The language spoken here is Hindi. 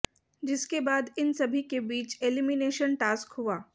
जिसके बाद इन सभी के बीच एलिमिनेशन टास्क हुआ